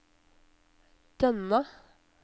Dønna